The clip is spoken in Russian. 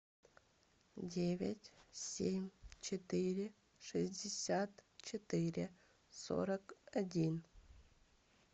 девять семь четыре шестьдесят четыре сорок один